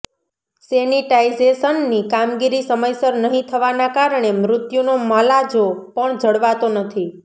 સેનિટાઇઝેશનની કામગીરી સમયસર નહીં થવાના કારણે મૃત્યુનો મલાજો પણ જળવાતો નથી